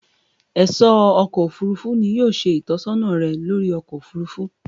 Ẹ̀sọ́ ọkọ̀ òfurufú ni yóò ṣe ìtọ́sọ́nà rẹ̀ lóri ọkọ̀ òfurufú